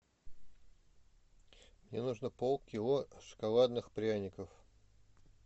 мне нужно пол кило шоколадных пряников